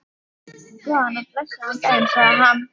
Góðan og blessaðan daginn, sagði hann.